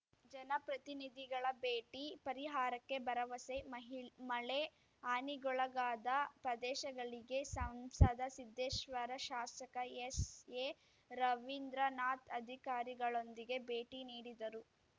ಜನ ಪ್ರತಿನಿಧಿಗಳ ಭೇಟಿ ಪರಿಹಾರಕ್ಕೆ ಭರವಸೆ ಮಹಿಳ್ ಮಳೆ ಹಾನಿಗೊಳಗಾದ ಪ್ರದೇಶಗಳಿಗೆ ಸಂಸದ ಸಿದ್ದೇಶ್ವರ ಶಾಸಕ ಎಸ್‌ಎರವೀಂದ್ರನಾಥ್‌ ಅಧಿಕಾರಿಗಳೊಂದಿಗೆ ಭೇಟಿ ನೀಡಿದರು